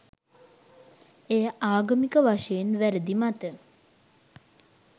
එය ආගමික වශයෙන් වැරදි මත